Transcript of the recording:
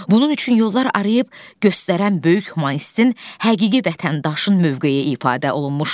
Bunun üçün yollar arayıb göstərən böyük humanistinn həqiqi vətəndaşın mövqeyi ifadə olunmuşdu.